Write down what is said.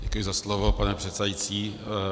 Děkuji za slovo, pane předsedající.